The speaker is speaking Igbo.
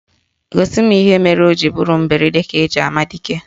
Gosi m ihe mere o ji bụrụ mberede ka eji ama dike